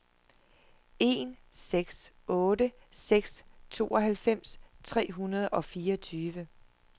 en seks otte seks tooghalvfems tre hundrede og fireogtyve